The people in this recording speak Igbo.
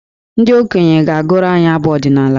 Ndị okenye ga-agụrụ anyị abụ ọdịnaala.